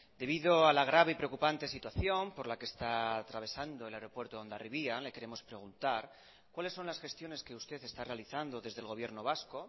debido a la grave preocupante situación por la que está atravesando el aeropuerto hondarribia le queremos preguntar cuáles son las gestiones que usted está realizando desde el gobierno vasco